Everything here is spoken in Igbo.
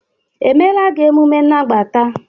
emela gị omume n' nagbata?